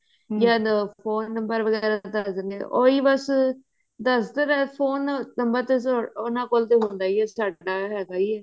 ਜਾਂ phone number ਵਗੇਰਾ ਦੱਸ ਦਿੰਦੇ ਉਹੀ ਬਸ ਦਰਅਸਲ phone number ਤੇ ਉਹਨਾ ਕੋਲ ਹੁੰਦਾ ਹੀ ਹੈ ਹੈਗਾ ਹੀੰ ਹੈ